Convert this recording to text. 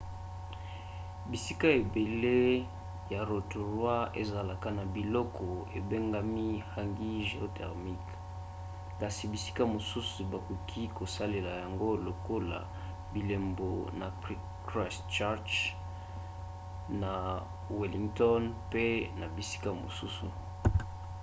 bisika ebele ya rotorua ezalaka na biloko ebengami hangi géothermiques kasi bisika mosusu bakoki kosalela yango lokola bilembo na christchurch na wellington pe na bisika mosusu